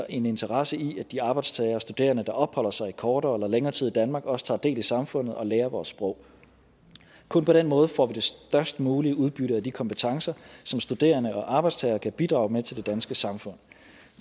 en interesse i at de arbejdstagere og studerende der opholder sig i kortere eller længere tid i danmark også tager del i samfundet og lærer vores sprog kun på den måde får vi det størst mulige udbytte af de kompetencer som studerende og arbejdstagere kan bidrage med til det danske samfund